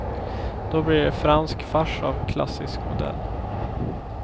Då blir det fransk fars av klassisk modell.